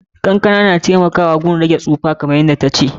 Kankan na taimakawa wajen rage tsholo, kamar yadda ta ce.